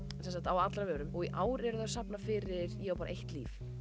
á allra vörum og í ár eru þau að safna fyrir ég á bara eitt líf